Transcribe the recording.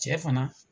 Cɛ fana